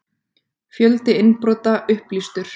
Fjöldi innbrota upplýstur